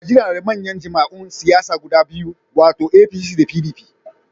Najeriya na da manyan jam'iyyun siyasa guda biyu, wato APC da PDP.